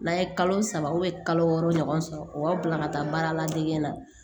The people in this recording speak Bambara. N'a ye kalo saba kalo wɔɔrɔ ɲɔgɔn sɔrɔ u b'a bila ka taa baara ladege na